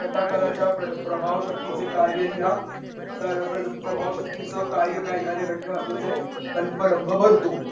कथाकाराच्या प्रभाव शक्तीचे कार्य लिहा तर प्रभाव शक्तीच कार्य काय? एखाद्या घटने वास्तवचे कल्परंग भरतो.